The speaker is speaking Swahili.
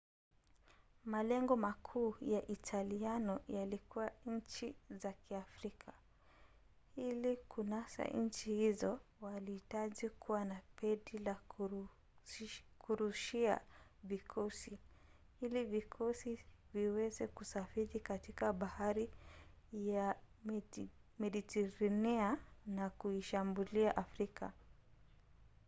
malengo makuu ya italiano yalikuwa nchi za kiafrika. ili kunasa nchi hizo walihitaji kuwa na pedi ya kurushia vikosi ili vikosi viweze kusafiri katika bahari ya mediteranea na kuishambulia afrika